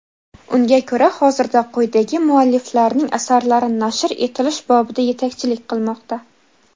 Unga ko‘ra hozirda quyidagi mualliflarning asarlari nashr etilish bobida yetakchilik qilmoqda.